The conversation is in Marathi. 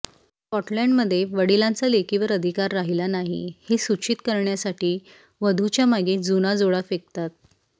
स्काटलैंडमध्ये वडिलांचा लेकीवर अधिकार राहिला नाही हे सूचित करण्यासाठी वधूच्या मागे जुना जोडा फेकतात